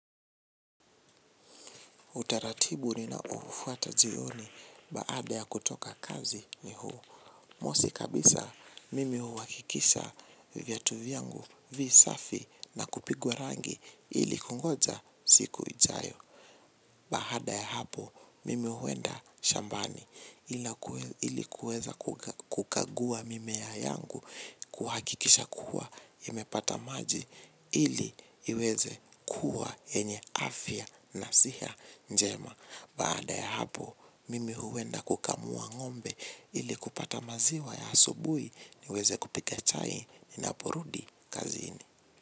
Utaratibu ninaoufuata jioni baada ya kutoka kazi ni huu. Mosi kabisa mimi uhakikisha viatu vyangu visafi na kupigwa rangi ili kungoja siku ijayo. Baada ya hapo, mimi uenda shambani ili kuweza kukagua mimea yangu, kuhakikisha kuwa imepata maji. Ili iweze kuwa yenye afya na siha njema. Baada ya hapo, mimi huenda kukamua ngombe. Ili kupata maziwa ya asubui, niweze kupika chai ninaporudi kazini.